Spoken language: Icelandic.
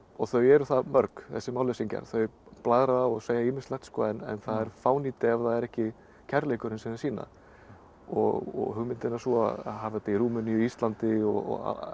þau eru það mörg þessir málleysingjar þau blaðra og segja ýmislegt en það er fánýti ef það er ekki kærleikurinn sem þau sýna og hugmyndin er sú að hafa þetta í Rúmeníu og Íslandi og